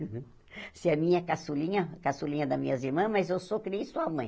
Você é a minha caçulinha, caçulinha das minhas irmãs, mas eu sou criei sua mãe.